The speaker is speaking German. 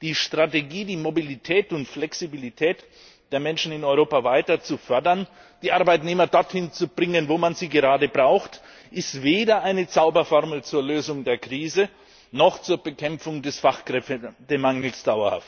Die Strategie, die Mobilität und Flexibilität der Menschen in Europa weiter zu fördern, die Arbeitnehmer dorthin zu bringen, wo man sie gerade braucht, ist weder eine Zauberformel zur Lösung der Krise noch zur dauerhaften Bekämpfung des Fachkräftemangels.